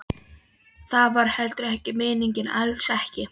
Það var heldur ekki meiningin, alls ekki.